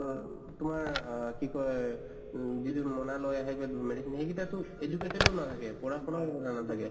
উ তোমাৰ আহ কি কয় উম যিটো মোনা লয় আহে medicine সেইগিতা টো educated তো নাথাকে, পঢ়া শুনাও ইমান নাথাকে